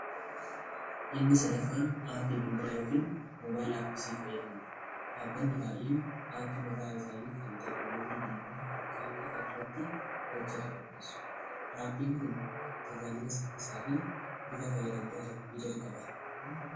Inni sadaffaan aappii bilbilaa yookiin moobaayilii aappii siimii fayyadamuudha. Dhaabbanni baay'een aappii mataa isaanii kan tekinooloojii bilbila harkaa qofa irratti hojjetu qopheessu. Aappiin kun tajaajila saffisaa fi bifa fayyadamtootaaf mijatu qaba.